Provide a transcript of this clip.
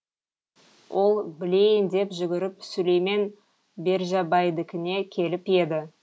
ол білейін деп жүгіріп сүлеймен бержабайдікіне келіп еді